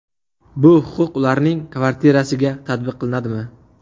Bu huquq ularning kvartirasiga tatbiq qilinadimi?